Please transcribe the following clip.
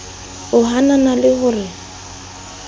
o hanana le ho re